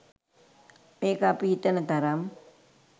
මේක අපි හිතන තරම්